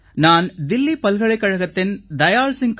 நான் தில்லி பல்கலைக்கழகத்தின் தயாள் சிங்